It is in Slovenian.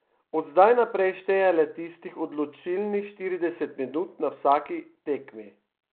Od zdaj naprej šteje le tistih odločilnih štirideset minut na vsaki tekmi.